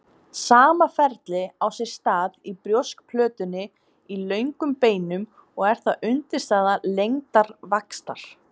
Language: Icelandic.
Sama ferli á sér stað í brjóskplötunni í löngum beinum og er það undirstaða lengdarvaxtar.